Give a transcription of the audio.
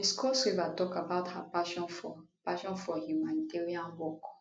miss cross river tok about her passion for passion for humanitarian work